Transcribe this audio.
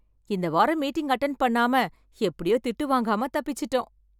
இந்த வாரம் meeting attend பண்ணாம எப்படியோ திட்டு வாங்காம தப்பிச்சிட்டோம்.